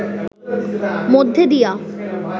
মধ্যে দিয়া